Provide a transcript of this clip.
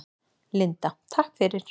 Linda: Takk fyrir.